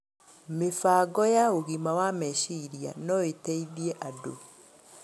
Mĩbango ya ũgima wa meciria no ĩteithie andũ